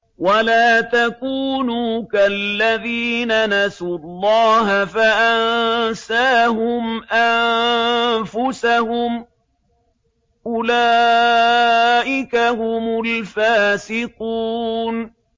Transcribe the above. وَلَا تَكُونُوا كَالَّذِينَ نَسُوا اللَّهَ فَأَنسَاهُمْ أَنفُسَهُمْ ۚ أُولَٰئِكَ هُمُ الْفَاسِقُونَ